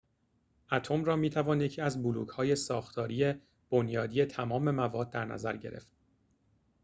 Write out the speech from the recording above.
اتم را می‌توان یکی از بلوک‌های ساختاری بنیادی تمام مواد در نظر گرفت